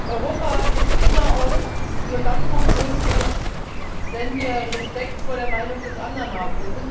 Europa ist immer auch nur dann funktionsfähig, wenn wir Respekt vor der Meinung des anderen haben.